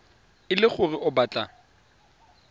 e le gore o batla